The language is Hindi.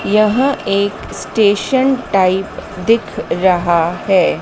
यह एक स्टेशन टाइप दिख रहा हैं।